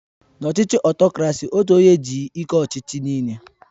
N'ọchịchị Ọtokrasi otu onye ji ike ọchịchị nịịle